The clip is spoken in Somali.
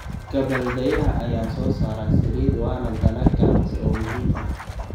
Gabbaldayaha ayaa soo saara saliid waana dalag ganacsi oo muhiim ah.